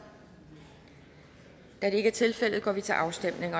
da det ikke er tilfældet går vi til afstemning